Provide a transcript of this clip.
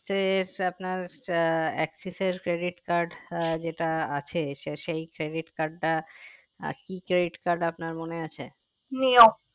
সে আপনার uh Axis এর credit card uh যেটা আছে সে সেই credit card টা কি credit card আপনার মনে আছে